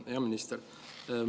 Hea minister!